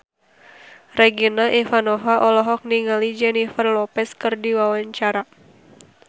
Regina Ivanova olohok ningali Jennifer Lopez keur diwawancara